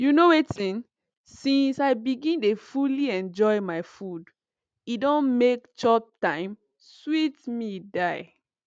you know wetin since i begin dey fully enjoy my food e don make chop time sweet me die